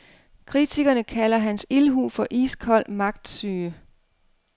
Kritikerne kalder hans ildhu for iskold magtsyge.